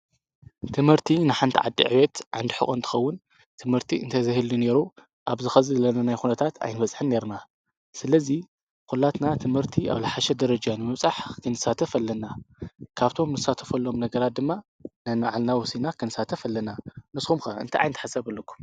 ትምህርቲ ንሓንቲ ዓዲ ዕብየት ዓንዲ ሑቀ እንትከውን ትምህርቲ እንተዘይህሉ ነይሩ ኣብዚ ሕዚ ዘለናዮ ኩነታት ኣምበፃሕናን ነይርና፡፡ ስለዚ ኩላትና ትምህርቲ ኣብ ዝሓሸ ደረጃ ንምብፃሕ ክንሳተፍ ኣለና፡፡ ካብቶም እንሳተፎሎመ ነገራት ድማ ነንባዕልና ወሲድና ክንሳተፍ ኣለና፡፡ ንስኩም ከ እንታይ ዓይነት ሓሳብ ኣለኩም?